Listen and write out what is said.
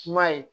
Kuma ye